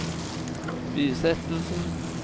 bisettelsen